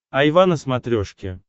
айва на смотрешке